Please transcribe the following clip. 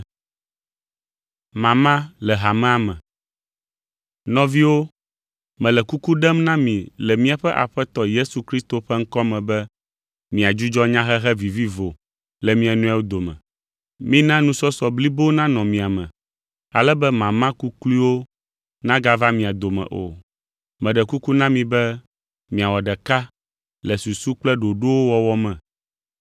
Nɔviwo, mele kuku ɖem na mi le míaƒe Aƒetɔ Yesu Kristo ƒe ŋkɔ me be miadzudzɔ nyahehe vivivo le mia nɔewo dome. Mina nusɔsɔ blibo nanɔ mia me ale be mama kukluiwo nagava mia dome o. Meɖe kuku na mi be miawɔ ɖeka le susu kple ɖoɖowo wɔwɔ me.